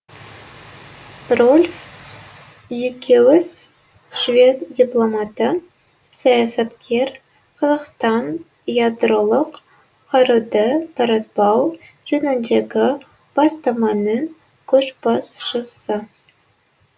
рольф экеус швед дипломаты саясаткер қазақстан ядролық қаруды таратпау жөніндегі бастаманың көшбасшысы